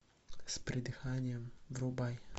с придыханием врубай